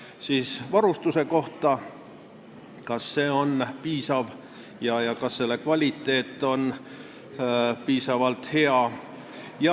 Küsimused varustuse kohta: kas see on piisav ja kas selle kvaliteet on piisavalt hea?